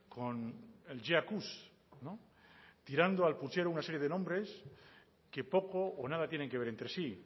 con el jaccuse tirando al puchero una serie de nombres que poco o nada tienen que ver entre sí